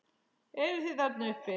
Eruð þið þarna uppi!